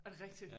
Er det rigtig?